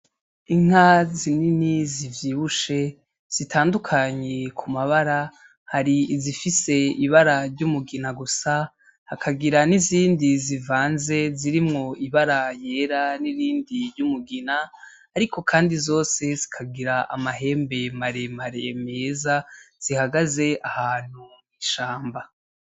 Inka zinini zivyibushe zitandukanye ku mabara, hari izifise ibara ry'umugina gusa hakagira nizindi zivanze zirimwo ibara yera nirindi ry'umugina, ariko kandi zose zikagira amahembe maremare meza zihagaze ahantu mw'ishamba.